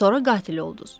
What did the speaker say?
Sonra qatil oldunuz.